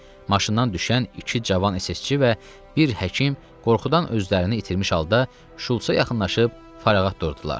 Maşından düşən iki cavan SS-çi və bir həkim qorxudan özlərini itirmiş halda Şultsa yaxınlaşıb fərağat durdular.